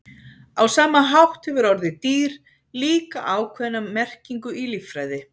á sama hátt hefur orðið „dýr“ líka ákveðna merkingu í líffræði